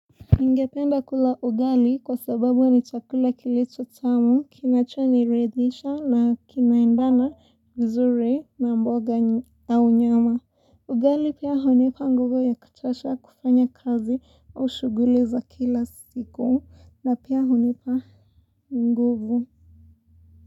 Ningependa kula ugali kwa sababu ni chakula kilicho tamu, kinacho niridisha na kinaendana vizuri na mboga au nyama. Ugali pia hunipa nguvu ya kutosha kufanya kazi au shughui za kila siku na pia hunipa nguvu.